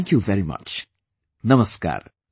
Thank you very much, Namaskar